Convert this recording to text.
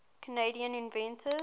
canadian inventors